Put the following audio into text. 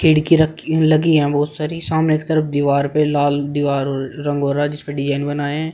खिड़की रखी लगी है बहोत सारी सामने की तरफ दीवार पे लाल दिवार रंग हो रहा जिसपे डिजाइन बना है।